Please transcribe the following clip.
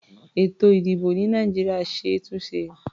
Ètò-ìdìbò ní Nàìjíríà ṣe é túnṣe.